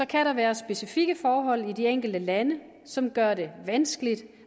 kan der være specifikke forhold i de enkelte lande som gør det vanskeligt